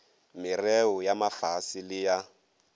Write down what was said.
merreo ya mafase le ya